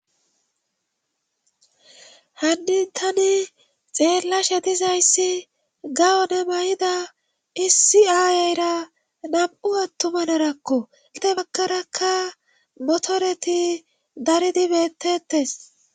han tani xeellashe dizay issi gawone mayida issi aayeyra nam7u attuma narako inte bakarakka motoreti daridibettettes